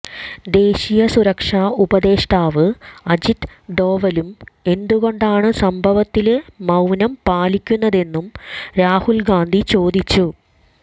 ദേശീയ സുരക്ഷാ ഉപദേഷ്ടാവ് അജിത് ഡോവലും എന്തുകൊണ്ടാണ് സംഭവത്തില് മൌനം പാലിക്കുന്നതെന്നും രാഹുല് ഗാന്ധി ചോദിച്ചു